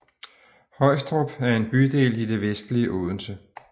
Højstrup er en bydel i det vestlige Odense